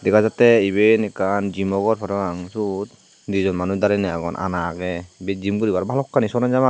dega jatte iben ekkan jimo gor parapang siyot dijon manuj darenei agon ana agey ibet jim guribar balokkani sona jem agey.